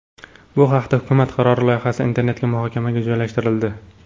Bu haqdagi hukumat qarori loyihasi internetga muhokamaga joylashtirildi.